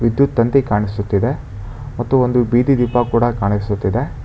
ವಿದ್ಯುತ್ ತಂತಿ ಕಾಣಿಸುತ್ತಿದೆ ಮತ್ತು ಒಂದು ಬಿದಿ ದೀಪ ಕೂಡ ಕಾಣಿಸುತ್ತಿದೆ.